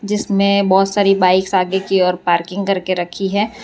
जिसमें बहोत सारी बाइक आगे की ओर पार्किंग करके रखी है।